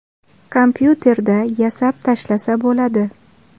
Kompyuterda yasab tashlasa bo‘ladi.